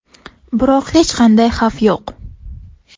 Biroq hech qanday xavf yo‘q.